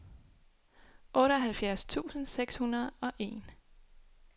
otteoghalvfjerds tusind seks hundrede og en